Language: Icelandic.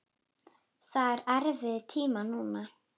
Það eru erfiðir tímar núna.